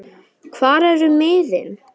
hvar eru miðin?